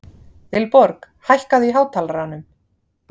Vilborg, hækkaðu í hátalaranum.